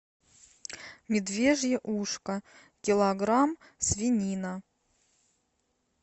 медвежье ушко килограмм свинина